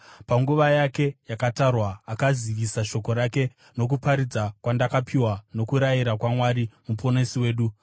panguva yake yakatarwa akazivisa shoko rake nokuparidza kwandakapiwa nokurayira kwaMwari Muponesi wedu,